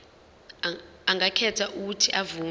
angakhetha uuthi avume